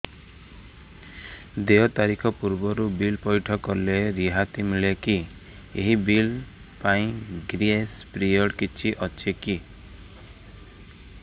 ଦେୟ ତାରିଖ ପୂର୍ବରୁ ବିଲ୍ ପୈଠ କଲେ ରିହାତି ମିଲେକି ଏହି ବିଲ୍ ପାଇଁ ଗ୍ରେସ୍ ପିରିୟଡ଼ କିଛି ଅଛିକି